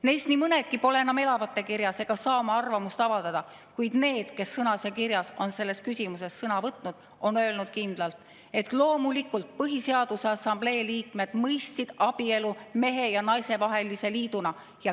Neist nii mõnedki pole enam elavate kirjas ega saa oma arvamust avaldada, kuid need, kes sõnas ja kirjas on selles küsimuses sõna võtnud, on öelnud kindlalt, et loomulikult, Põhiseaduse Assamblee liikmed mõistsid abielu mehe ja naise vahelise liiduna.